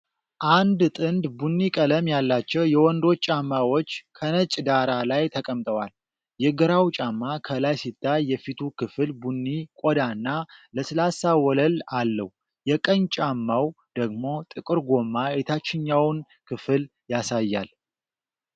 አንድ ጥንድ ቡኒ ቀለም ያላቸው የወንዶች ጫማዎች ከነጭ ዳራ ላይ ተቀምጠዋል። የግራው ጫማ ከላይ ሲታይ የፊቱ ክፍል ቡኒ ቆዳና ለስላሳ ወለል አለው። የቀኝ ጫማው ደግሞ ጥቁር ጎማ የታችኛውን ክፍል ያሳያል።